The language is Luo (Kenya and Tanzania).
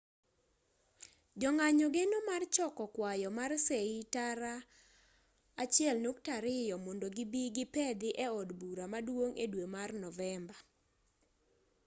jo-ng'anyo geno mar choko kwayo mar sei tara 1.2 mondo gibi gipedhi e od bura maduong' e dwe mar novemba